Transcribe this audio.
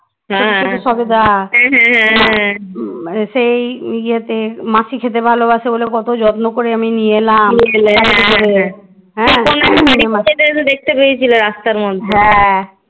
দেখতে পেয়েছিল রাস্তার মধ্যে